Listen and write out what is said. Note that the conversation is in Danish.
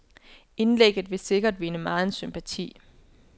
Indlægget vil sikkert vinde megen sympati.